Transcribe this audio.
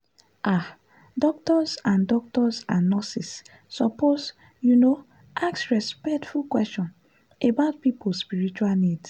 ah doctors and doctors and nurses suppose you know ask respectful questions about people spiritual needs.